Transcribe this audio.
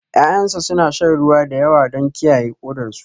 Ya'yana suna shan ruwa da yawa don kiyaye kodarsu